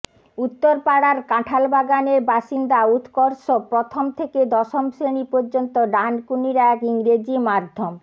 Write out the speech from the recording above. উত্তরপাড়ার কাঁঠালবাগানের বাসিন্দা উৎকর্ষ প্রথম থেকে দশম শ্রেণি পর্যন্ত ডানকুনির এক ইংরেজি মাধ্যম